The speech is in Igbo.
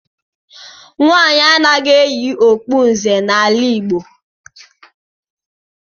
Nwaanyị anaghị eyi okpu nze n'ala Igbo.